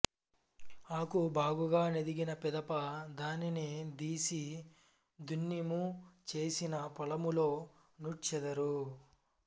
ఆకు బాగుగ నెదిగిన పిదప దానిని దీసి దున్ని ము చేసిన పొలములో నూడ్చెదారు